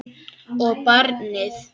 Og barnið.